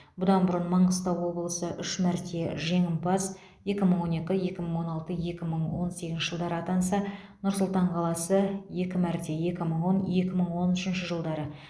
бұдан бұрын маңғыстау облысы үш мәрте жеңімпаз екі мың он екі екі мың он алты екі мың он сегізінші жылдары атанса нұр сұлтан қаласы екі мәрте екі мың он екі мың он үшінші жылдары